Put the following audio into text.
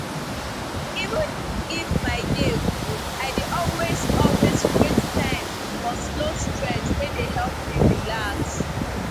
even if my day full i dey always always create time for slow stretch wey dey help me relax